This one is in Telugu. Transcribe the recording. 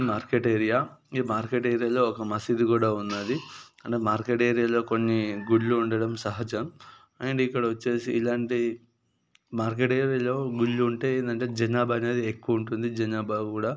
Market area . ఈ మార్కెట్ ఏరియా లో ఒక మసీదు కూడా వున్నది. అంటే మార్కెట్ ఏరియాలో కొన్ని గుళ్ళు ఉండడం సహాజం. అండ్ ఇక్కడ వచ్చేసి ఇలాంటి మార్కెట్ ఏరియా లో గుళ్లు ఉంటే ఏందంటే జనాభా అనేది ఎక్కువ ఉంటుంది. జనాభా కూడా --